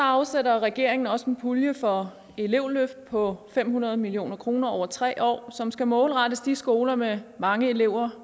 afsætter regeringen også en pulje for elevløft på fem hundrede million kroner over tre år som skal målrettes de skoler med mange elever